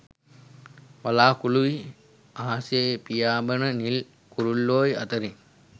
වළාකුළු යි අහසේපියාඹන නිල් කුරුල්ලොයි අතරින්